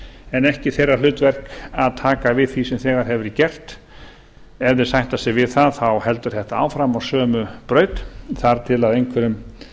en ekki þeirra hlutverk að taka við því sem þegar hefur verið gert ef þeir sætta sig við það þá heldur þetta áfram á sömu braut þar til einhverjum